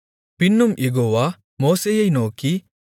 பின்னும் யெகோவா மோசேயை நோக்கி